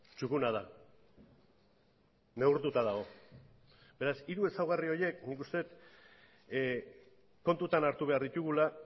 txukuna da neurtuta dago beraz hiru ezaugarri horiek nik uste dut kontutan hartu behar ditugula